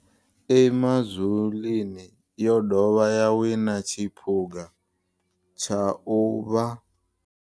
Emazulwini yo dovha ya wina tshiphuga tsha u vha